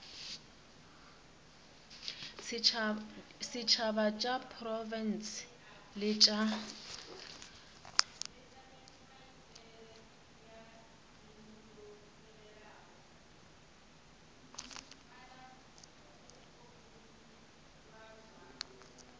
setšhaba tša diprofense le tša